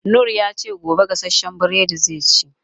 Noor ya ce, gobe gasashen buredi zai ci.